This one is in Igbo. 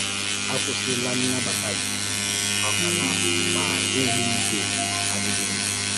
Àkwụ́sịla nnabata gị, ọ̀kànà ma ìhù́ ígwè adịghị mma.